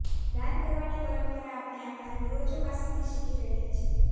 દાન કરવાની પરંપરા આપણે આપણા પૂર્વજો પાસેથી શીખી રહ્યા છીએ